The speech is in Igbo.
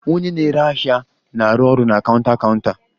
Onye na-ere ahịa na-arụ ọrụ na counter counter